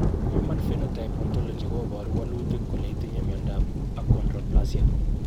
Human Phenotype Ontology koporu wolutik kole itinye Miondap Achondroplasia.